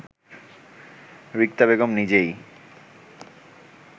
রিক্তা বেগম নিজেই